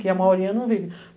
Que a maioria não vive.